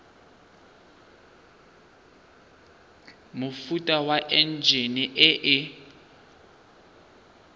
mofuta wa enjine e e